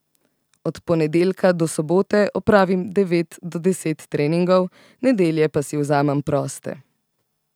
Od ponedeljka do sobote opravim devet do deset treningov, nedelje pa si vzamem proste.